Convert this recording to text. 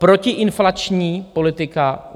Protiinflační politika.